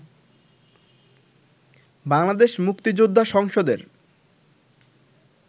বাংলাদেশ মুক্তিযোদ্ধা সংসদের